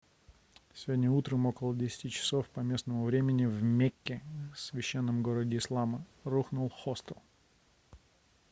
сегодня утром около 10 часов по местному времени в мекке священном городе ислама рухнул хостел